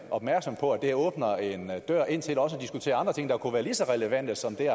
opmærksom på at det åbner en dør ind til også at diskutere andre ting der kunne være lige så relevante som det